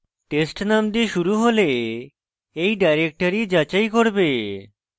test name দিয়ে শুরু হলে এই directories যাচাই করবে